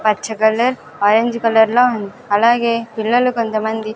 పచ్చ colour orange కలర్లో అలాగే పిల్లలు కొంతమంది--